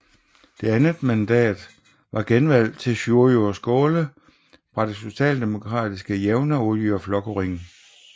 Det andet mandat var genvalg til Sjúrður Skaale fra det socialdemokratiske Javnaðarflokkurin